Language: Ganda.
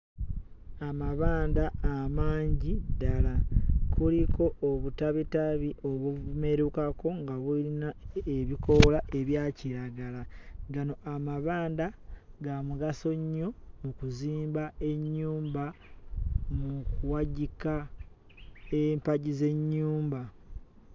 Amabanda amangi ddala kuliko obutabitabi obumerukako nga buyina ku ebikoola ebya kiragala gano amabanda ga mugaso nnyo mu kuzimba ennyumba mu kuwagika empagi z'ennyumba.